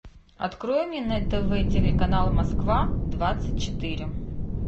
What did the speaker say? открой мне на тв телеканал москва двадцать четыре